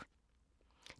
DR1